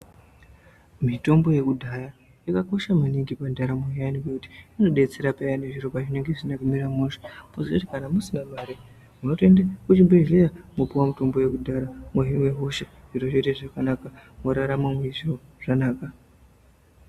Mitombo yekudhaya yakakosha maningi pandaramo iyani nekuti inodetsera maningi payani zviro pazvinenge zvisina kumira mushe pazoti kana musina mari munotoenda kuzvibhedhlera monopiwa mutombo yekudyaya mohina hosha zviro zvoita zvakanaka morarama zviro zvakanaka.